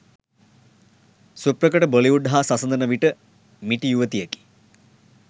සුප්‍රකට බොලිවුඩ් හා සසඳන විට මිටි යුවතියකි